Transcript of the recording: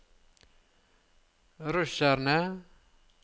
russerne